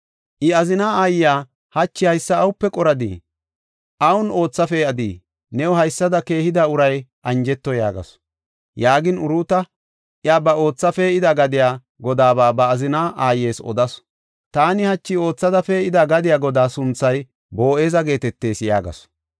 I azina aayiya, “Hachi haysa awupe qoradii? Awun ootha pee7adii? New haysada keehida uray anjeto” yaagasu. Yaagin Uruuta iya ba ootha pee7ida gadiya godaaba ba azina aayes odasu. “Taani hachi oothada pee7ida gadiya godaa sunthay Boo7eza geetetees” yaagasu.